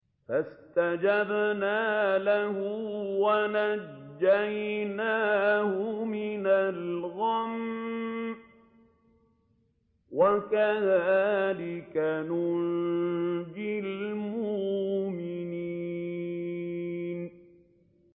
فَاسْتَجَبْنَا لَهُ وَنَجَّيْنَاهُ مِنَ الْغَمِّ ۚ وَكَذَٰلِكَ نُنجِي الْمُؤْمِنِينَ